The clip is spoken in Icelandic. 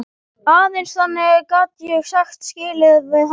Aðeins þannig gat ég sagt skilið við hana.